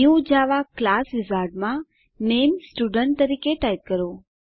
new Java class wizard માં નામે student તરીકે ટાઈપ કરો